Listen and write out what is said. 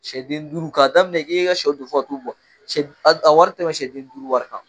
Siyɛden duuru ka daminɛ e ka siyɛw don fɔ ka t'u bɔ a wari tɛ siyɛden duuru wari kan.